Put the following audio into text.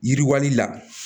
Yiriwali la